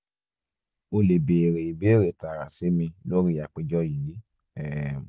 o le beere ibeere taara si mi lori apejọ yii um